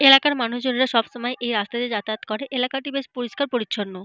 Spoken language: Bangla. এলাকার মানুষজনেরা সবসময় এই রাস্তা দিয়ে যাতায়াত করে। এলাকাটি বেশ পরিষ্কার পরিছন্ন।